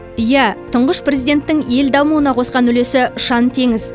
иә тұңғыш президенттің ел дамуына қосқан үлесі ұшан теңіз